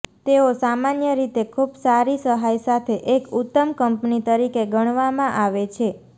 તેઓ સામાન્ય રીતે ખૂબ સારી સહાય સાથે એક ઉત્તમ કંપની તરીકે ગણવામાં આવે છે